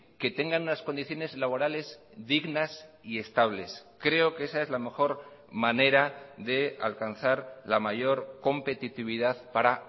que tengan unas condiciones laborales dignas y estables creo que esa es la mejor manera de alcanzar la mayor competitividad para